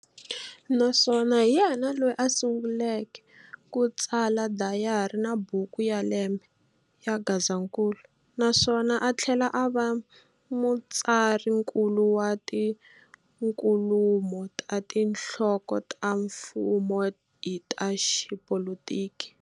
Naswona hi yena loyi a sunguleke ku tsala Dayari na Buku ya lembe, ya Gazankulu. Naswona a thlela ava mutsarinkulu wa tinkulumo ta tinhloko ta mfumo hi ta Xipolotiki.